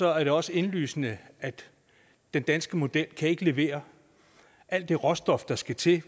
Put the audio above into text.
er det også indlysende at den danske model ikke kan levere alt det råstof der skal til